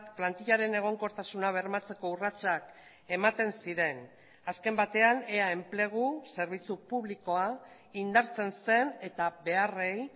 plantillaren egonkortasuna bermatzeko urratsak ematen ziren azken batean ea enplegu zerbitzu publikoa indartzen zen eta beharrei